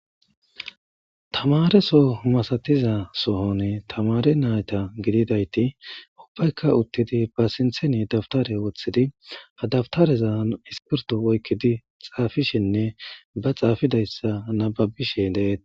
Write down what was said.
Thamaareso soho masathiza sohoni thamaare naatha gididaythi ubbaykka uththidi ba sinththeni dabthare woththidi ha dabtharezan iskpirtho oykkidi xaafishinne ba xaafidayssa nabbabbishe de7eet.